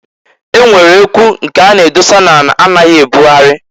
E nwere ekwu nke a na-edosa n'ala a naghị ebụgharị.